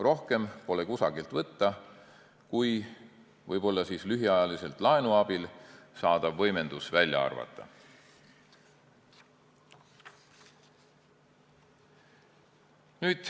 Rohkem pole kusagilt võtta, kui võib-olla lühiajaliselt laenu abil saadav võimendus välja arvata.